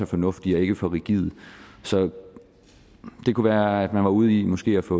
fornuftige og ikke for rigide så det kunne være at man var ude i måske at få